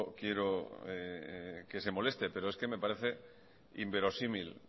quiero que se moleste pero es que me parece inverosímil